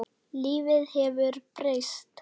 Lífið hefur breyst.